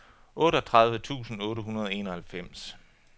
otteogtredive tusind otte hundrede og enoghalvfems